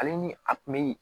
Ale ni a kun bɛ